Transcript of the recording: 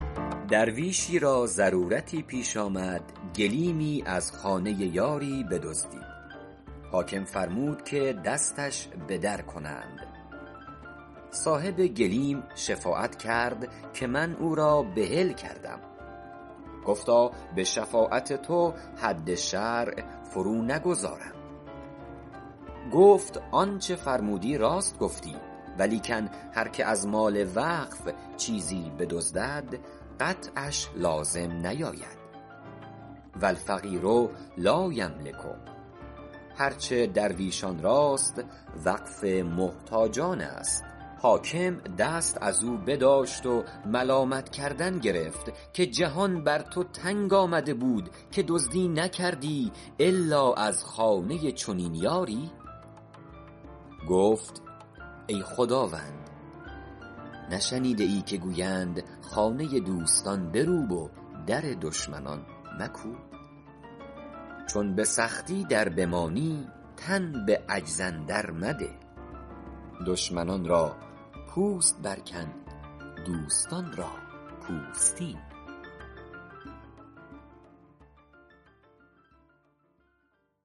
درویشی را ضرورتی پیش آمد گلیمی از خانه یاری بدزدید حاکم فرمود که دستش بدر کنند صاحب گلیم شفاعت کرد که من او را بحل کردم گفتا به شفاعت تو حد شرع فرو نگذارم گفت آنچه فرمودی راست گفتی ولیکن هر که از مال وقف چیزی بدزدد قطعش لازم نیاید و الفقیر لایملک هر چه درویشان راست وقف محتاجان است حاکم دست از او بداشت و ملامت کردن گرفت که جهان بر تو تنگ آمده بود که دزدی نکردی الا از خانه چنین یاری گفت ای خداوند نشنیده ای که گویند خانه دوستان بروب و در دشمنان مکوب چون به سختی در بمانی تن به عجز اندر مده دشمنان را پوست بر کن دوستان را پوستین